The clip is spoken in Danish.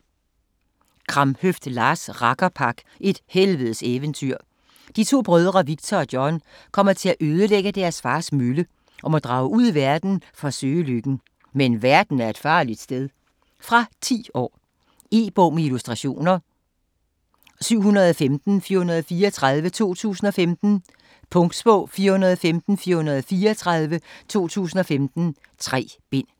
Kramhøft, Lars: Rakkerpak - et helvedes eventyr De to brødre Viktor og John kommer til at ødelægge deres fars mølle, og må drage ud i verden for at søge lykken. Men verden er et farligt sted. Fra 10 år. E-bog med illustrationer 715434 2015. Punktbog 415434 2015. 3 bind.